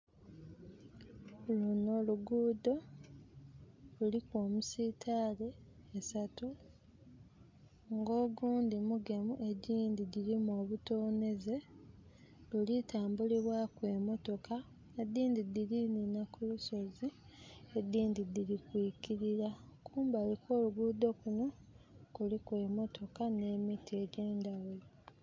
Lunho lugudho luliku emisiitale esatu, nga ogundi mugemu, egindhi girimu obutonheze, luli tambulibwaku emotoka. Edhindi dhiri nhinha ku lusozi, edhindhi dhiri kuikirira. Kumbali okw'olugudho kunho, kuliku emotoka nh'emiti egyendhaghulo.